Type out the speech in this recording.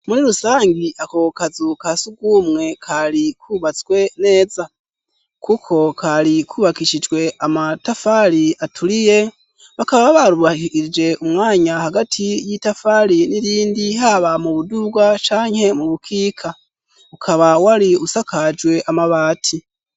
Muri rusangi ako kazu kasugumwe kari kubatswe neza, kuko kari kubakishijwe amatafari aturiye, bakaba barubahirije umwanya hagati y'itafari n'irindi ,haba mubuduga canke mubukika, ukaba wari usakajwe amabati.